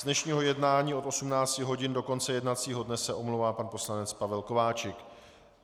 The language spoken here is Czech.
Z dnešního jednání od 18 hodin do konce jednacího dne se omlouvá pan poslanec Pavel Kováčik.